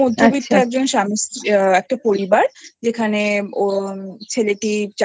মধ্যবিত্ত একটা আচ্ছা পরিবার যেখানে ছেলেটি